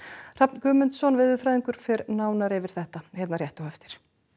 Hrafn Guðmundsson veðurfræðingur fer nánar yfir þetta hér rétt á eftir